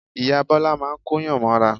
Ìyá Bọ́lá máa ń Kóyàn mọ́ra